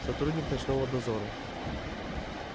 сотрудник ночного дозора